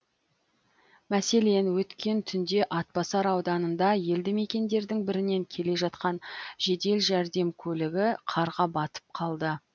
мәселен өткен түнде атбасар ауданында елді мекендердің бірінен келе жатқан жедел жәрдем көлігі қарға батып қалды